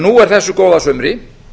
nú er þessu góða sumri